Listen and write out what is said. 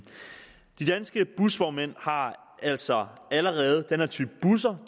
de danske busvognmænd har altså allerede den her type busser